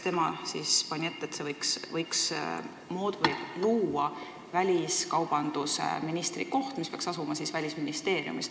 Tema pani ette, et võiks luua väliskaubandusministri koha, mis peaks asuma Välisministeeriumis.